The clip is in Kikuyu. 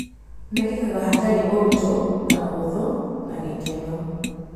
Mekĩkaga hatarĩ ũritũ na ũhũthũ na gĩkeno.